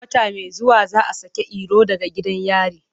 Wata mai zuwa za a saki Iro daga gidan yari.